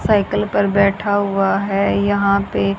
cycle पर बैठा हुआ है यहां पे--